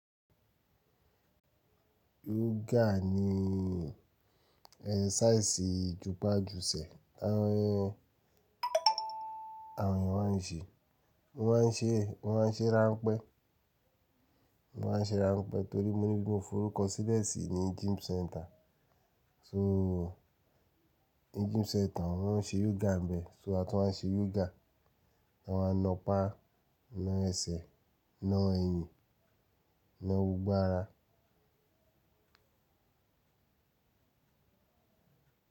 Yoga ni exercise jùpájùṣẹ ti àwọn ènìyàn, máa ń ṣe, mo máa ń ṣe, mo máa ń ṣe ránpẹ́, wọ́n máa ń ṣe ránpẹ́ torí mo ní ibi ti mo forúkọ sílẹ̀ sì ní gym centre. So ni gym centre wọ́n ń ṣe yoga ń bẹ̀, so àtún ma ń ṣe yoga ń bẹ wọ́n á na apá, na ẹsẹ̀, na ẹyìn, na gbogbo ara.